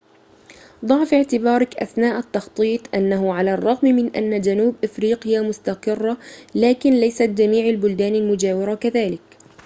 ضع في اعتبارك أثناء التخطيط أنه على الرغم من أن جنوب أفريقيا مستقرة لكن ليست جميع البلدان المجاورة كذلك